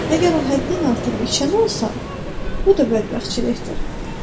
Əgər o həddən artıq içən olsa, bu da bərbadçılıqdır.